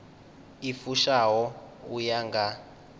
i fushaho u ya nga